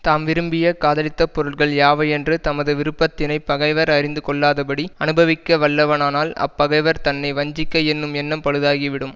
தாம் விரும்பிய காதலித்த பொருள்கள் யாவையென்று தமது விருப்பத்தினைப் பகைவர் அறிந்து கொள்ளாதபடி அனுபவிக்க வல்லவனானால் அப்பகைவர் தன்னை வஞ்சிக்க என்னும் எண்ணம் பழுதாகிவிடும்